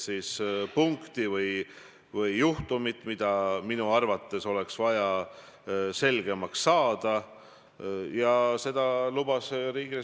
Ma ei ole kuidagi teie sõnu, ma ei tea, väänanud ja igal juhul olen ma nõus selle täpsustusega, mis te stenogrammi jaoks tegite.